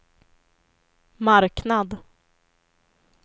marknad